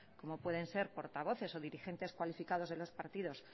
como pueden ser portavoces o dirigentes cualificados de los partidos